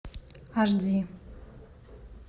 аш ди